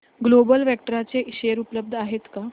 global Vectra चे share उपलब्ध आहेत का